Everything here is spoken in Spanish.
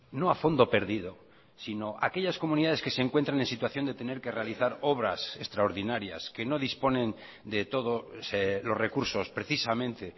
no a fondo perdido sino a aquellas comunidades que se encuentran en situación de tener que realizar obras extraordinarias que no disponen de todo los recursos precisamente